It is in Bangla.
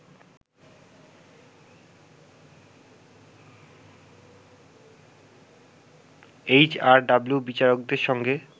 এইচআরডব্লিউ বিচারকদের সঙ্গে